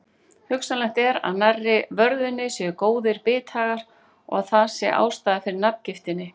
Hugsanlegt er að nærri vörðunni séu góðir bithagar og að það sé ástæðan fyrir nafngiftinni.